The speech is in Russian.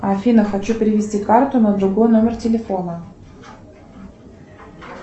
афина хочу перевести карту на другой номер телефона